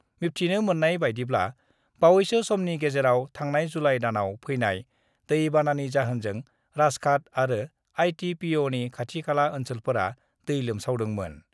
मिबथिनो मोननाय बायदिब्ला बावैसो समनि गेजेराव थांनाय जुलाइ दानाव फैनाय दै बानानि जाहोनजों राजघाट आरो आइटिपिअनि खाथि-खाला ओन्‍सोलफोरा दै लोमसावदोंमोन।